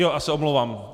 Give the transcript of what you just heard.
Já se omlouvám.